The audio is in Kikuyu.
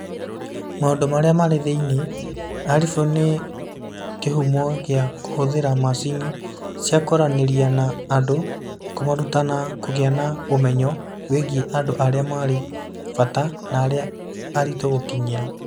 Maũndũ Marĩa Marĩ Thĩinĩ: Arifu nĩ kĩhumo gĩa kũhũthĩra macini cia kwaranĩria na andũ, kũmaruta na kũgĩa na ũmenyo wĩgiĩ andũ arĩa marĩ bata na arĩa aritũ gũkinyĩra.